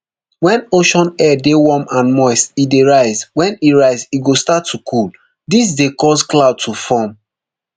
wen ocean air dey warm and moist e dey rise wen e rise e go start to cool dis dey cause clouds to form